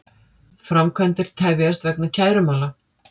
Framkvæmdir tefjast vegna kærumála